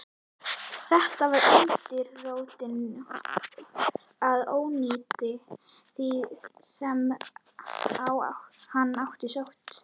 Þetta var undirrótin að óyndi því, sem á hann sótti.